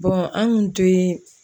an kun te